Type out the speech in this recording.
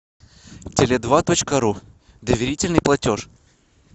теле два точка ру доверительный платеж